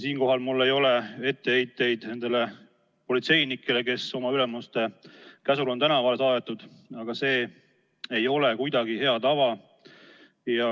Siinkohal mul ei ole etteheiteid nendele politseinikele, kes oma ülemuste käsul on tänavale saadetud, aga see ei ole kuidagi hea tava.